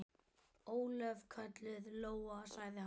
Ólöf, kölluð Lóa, sagði hann.